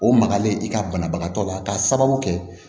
O magalen i ka banabagatɔ la k'a sababu kɛ